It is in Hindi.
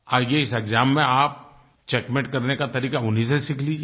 आइये इस एक्साम में आप चेकमेट करने का तरीका उन्हीं से सीख लीजिए